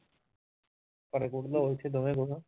ਘਰੇ ਉਹ ਚ